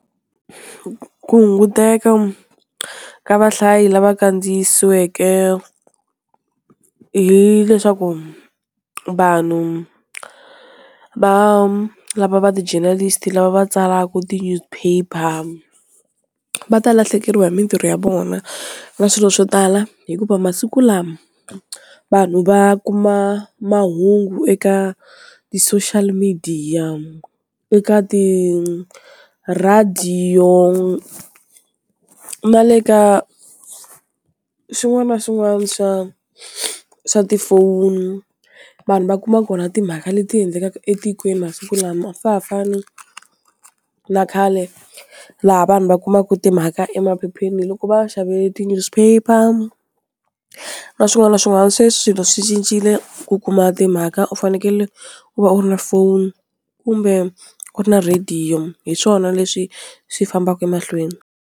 ku hunguteka ka vahlayi lava kandziyisiweke hileswaku vanhu va lava va ti-journalist lava va tsalaka ti-newspaper va ta lahlekeriwa hi mintirho ya vona na swilo swo tala hikuva masiku lama vanhu va kuma mahungu eka ti-social media, eka tirhediyo na le ka swin'wana na swin'wana swa swa tifoni vanhu va kuma kona timhaka leti endlekaka etikweni masiku lama a swa ha fani na khale laha vanhu va kumaka timhaka emaphepheni loko va xave ti-newspaper na swin'wana na swin'wana, sweswi swilo swi cincile ku kuma timhaka u fanekele u va u ri na phone kumbe u ri na rhediyo hi swona leswi swi fambaka emahlweni.